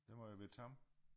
Det må jo være tam